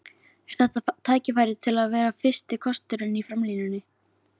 Er þetta tækifæri til að vera fyrsti kosturinn í framlínunni?